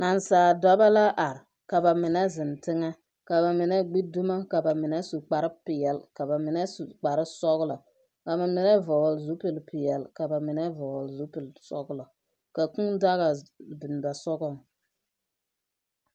Naasaaldɔbɔ la are, ka ba mine zeŋ teŋɛ, ka ba mine gbi dumo ka ba mine su kparepeɛle ka ba mine su kparesɔglɔ ka ba mine vɔgle zupilpeɛle ka ba mine vɔgle zupilsɔglɔ ka kũũ daga biŋ ba sogɔŋ.